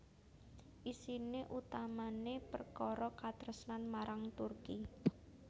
Isiné utamané perkara katresnan marang Turki